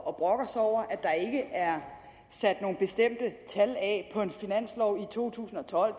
og brokker sig over at der ikke er sat nogen bestemte tal af på en finanslov for to tusind og tolv